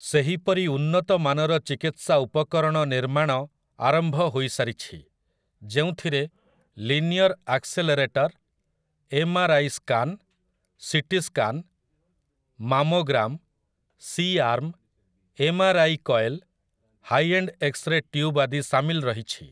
ସେହିପରି ଉନ୍ନତ ମାନର ଚିକିତ୍ସା ଉପକରଣ ନିର୍ମାଣ ଆରମ୍ଭ ହୋଇସାରିଛି ଯେଉଁଥିରେ linear accelerator, M R I scan, CT scan, mammogram, C arm, M R I coil, high end X-ray tube ଆଦି ସାମିଲ ରହିଛି ।